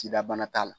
Sida bana t'a la